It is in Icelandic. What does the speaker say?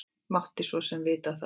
Mátti svo sem vita það.